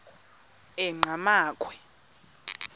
enqgamakhwe